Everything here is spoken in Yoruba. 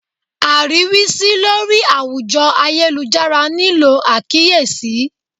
Ariwisi lori awujo ayelujara nilo akiyesi